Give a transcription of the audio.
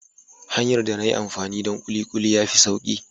Hanyar da na yi amfani donkulikuli ya fi sauƙi.